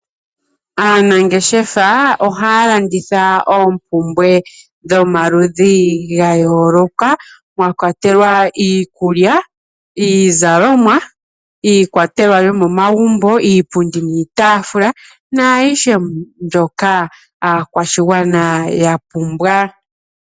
Aanangeshefa ohaya landitha oompumbwe dha yooloka mwakwatelwa iikulya ,iizalomwa iikwatelwa yomomagumbo naayihe mbyoka aakwashigwana yapumbwa.